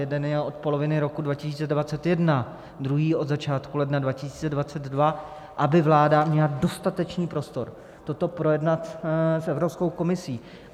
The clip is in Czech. Jeden je od poloviny roku 2021, druhý od začátku ledna 2022, aby vláda měla dostatečný prostor toto projednat s Evropskou komisí.